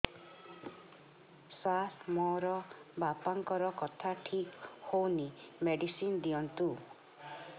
ସାର ମୋର ବାପାଙ୍କର କଥା ଠିକ ହଉନି ମେଡିସିନ ଦିଅନ୍ତୁ